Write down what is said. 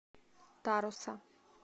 таруса